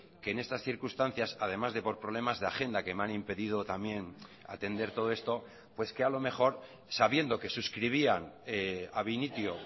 que en estas circunstancias además de por problemas de agenda que me han impedido también atender todo esto pues que a lo mejor sabiendo que suscribían ab initio